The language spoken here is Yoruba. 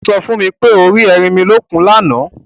O so fún mi pé o rí ẹrinmilókun lána.